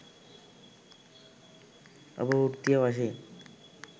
ඔබ වෘත්තීය වශයෙන්